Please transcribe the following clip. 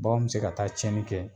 Bakanw be se ka taa tiɲɛni kɛ